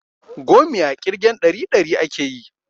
Gomiya ƙirgen ɗari ɗari akeyi